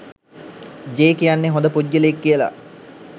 J කියන්නේ හොඳ පුද්ගලයෙක් කියලා